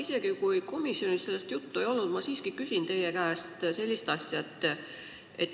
Isegi kui komisjonis sellest juttu ei olnud, ma siiski küsin teie käest sellist asja.